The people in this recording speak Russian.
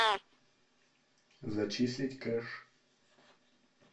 зачислить кэш